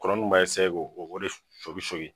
Kɔnɔ nunnu b'a k'o de sonki sonki